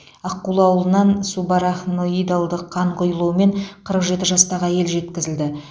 аққулы ауылынан субарахноидалдық қан құйылумен қырық жеті жастағы әйел жеткізілді